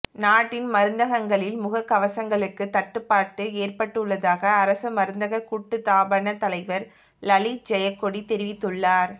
நாட்டின் மருந்தகங்களில் முக கவசங்களுக்கு தட்டுப்பாட்டு ஏற்பட்டுள்ளதாக அரச மருந்தக கூட்டுத்தாபன தலைவர் லலித் ஜெயக்கொடி தெரிவித்துள்ளார்